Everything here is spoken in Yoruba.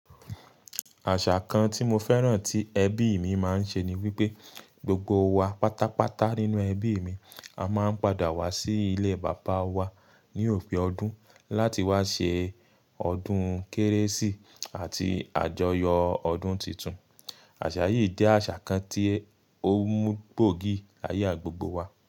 Àṣà kan tí mo fẹ́ràn tí ẹbí mi máa ń ṣe ni wípé gbogbo wa pátápátá nínú ẹbí mi a máa ń padà wá sí ilé bàbá wa ni òpin ọdún láti wá ṣe ọdún kérésì ati àjọyọ̀ ọdún titun. Àṣà yìí jẹ́ àṣà kan tí ó mú gbogí aya gbogbo wa.